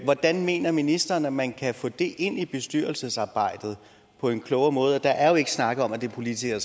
hvordan mener ministeren at man kan få det ind i bestyrelsesarbejdet på en klogere måde der er jo ikke snakket om at det er politikere